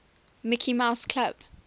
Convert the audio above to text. mickey mouse club